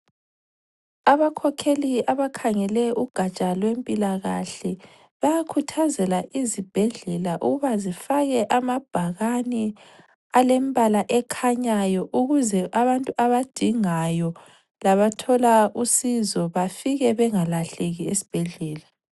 Abakhokheli abakhangele ugatsha lwempilakahle bayakhuthazela izibhedlela ukuba zifake amabhakane alembala ekhanyayo ukuze abantu abadingayo labathola usizo bafike bengalahleki esibhedlela.